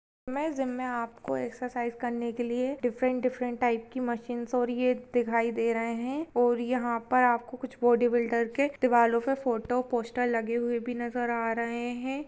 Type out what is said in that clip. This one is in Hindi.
मे जिम मे आपको एक्सर्साइज़ करने के लिए डिफ्रन्ट डिफ्रन्ट टाइप की मशीन्स और ये दिखाई दे रही है और यहा पर आपको कुछ बॉडी बिल्डर के दिवारो पे फोटो पोस्टर लगे हुवे भी नजर आ रहे है।